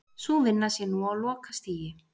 Sú vinna sé nú á lokastigi